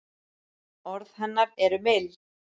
Orð hennar eru mild.